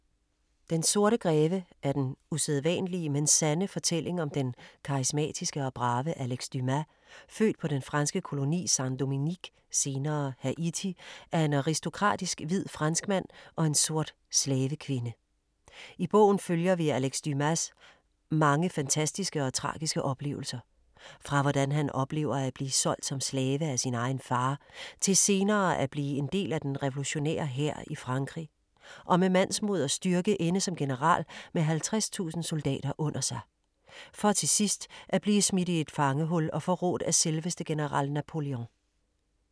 Den sorte greve er den usædvanlige, men sande fortælling om den karismatiske og brave Alex Dumas, født på den franske koloni Saint-Dominique (senere Haiti) af en aristokratisk hvid franskmand og en sort slavekvinde. I bogen følger vi Alex Dumas mange fantastiske og tragiske oplevelser; fra hvordan han oplever at blive solgt som slave af sin egen far, til senere at blive en del af den revolutionære hær i Frankrig, og med mandsmod og styrke ende som general med 50.000 soldater under sig. For til sidst at blive smidt i et fangehul og forrådt af selveste general Napoleon.